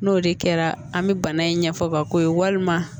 N'o de kɛra an bɛ bana in ɲɛfɔ bako ye walima